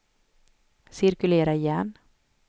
cirkulera igen